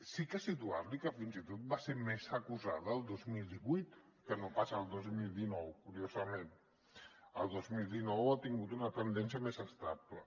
sí que situar li que fins i tot va ser més acusada el dos mil divuit que no pas el dos mil dinou curiosament el dos mil dinou ha tingut una tendència més estable